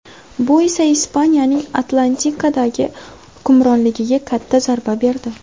Bu esa Ispaniyaning Atlantikadagi hukmronligiga katta zarba berdi.